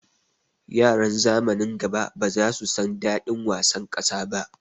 Yaran zamanin gaba baza su san daɗin wasan ƙasa ba